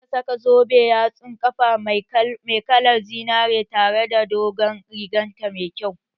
Za ta saka zoben yatsun ƙafa mai kalar zinari tare da dogon rigar ta mai kyau